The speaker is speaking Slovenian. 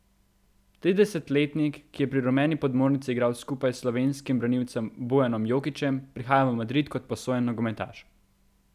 Triintridesetletnik, ki je pri rumeni podmornici igral skupaj s slovenskim branilcem Bojanom Jokićem, prihaja v Madrid kot posojen nogometaš.